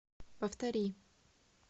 повтори